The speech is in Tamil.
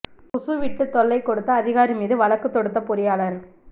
குசு விட்டு தொல்லை கொடுத்த அதிகாரி மீது வழக்கு தொடுத்த பொறியாளர்